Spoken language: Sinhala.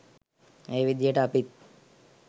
ඒ විදිහට අපිත්